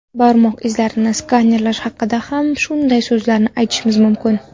Barmoq izlarini skanerlash haqida ham shunday so‘zlarni aytishimiz mumkin.